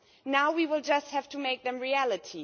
Now we will just have to make them reality.